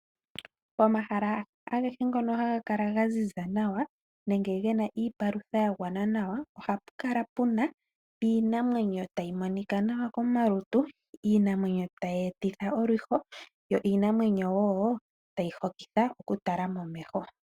Pomahala ngono haga kala ga ziza nawa nenge ge na iipalutha ya gwana nawa oha pu kala pu na iinamwenyo tayi monika nawa komalutu iinamwenyo tayi etitha olwiho yo iinamweyo wo tayi hokitha kutala momeho.